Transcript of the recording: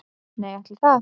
Nei ætli það.